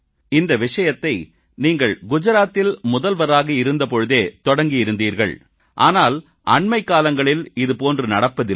இந்த விஷயத்தை நீங்கள் குஜராத்தில் முதல்வராக இருந்த பொழுதே தொடக்கியிருந்தீர்கள் ஆனால் அண்மைக்காலங்களில் இதுபோன்று நடப்பதில்லை